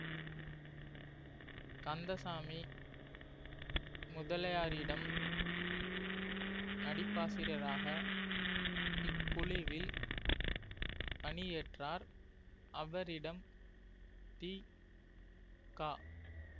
கந்தசாமி முதலியாரிடம் நடிப்பாசிரியராக இக்குழுவில் பணியேற்றார் அவரிடம் தி க